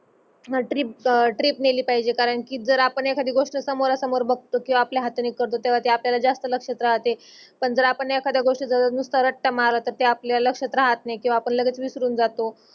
trip नेहली पाहिजे कारण कि जर मग आपन एकांदि गोष्ट समोरा समोर बगतो कि आपल्या हाथाने करतो त्या आपल्याल जास्त लक्षात राहते पण जरा आपण एकांद्या गोष्ठी त्या आपल्याला लक्षात राहत नाही त्यो आपन लगेच विसरून जातो